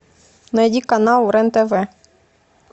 найди канал рен тв